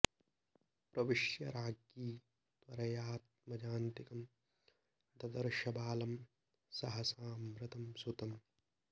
प्रविश्य राज्ञी त्वरयाऽऽत्मजान्तिकं ददर्श बालं सहसा मृतं सुतम्